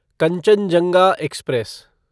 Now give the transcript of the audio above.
Kanchenjunga express